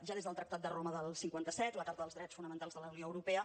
ja des del tractat de roma del cinquanta set la carta dels drets fonamentals de la unió europea